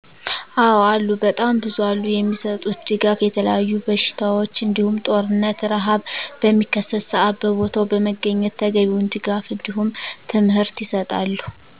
አዎ አሉ በጣም ብዙ አሉ የሚሰጡት ድጋፍ የተለያዩ በሽታዎች እንዲሁም ጦርነት፣ ርሀብ በሚከሰት ሰአት በቦታው በመገኘት ተገቢውን ድጋፍ እንዲሁም ትምህርት ይሰጣሉ